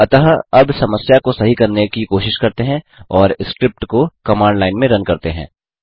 अतः अब समस्या को सही करने की कोशिश करते हैं और स्क्रिप्ट को कमांड लाइन में रन करते हैं